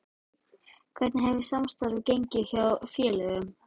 Hvernig hefur samstarfið gengið hjá félögunum?